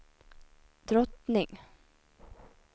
drottning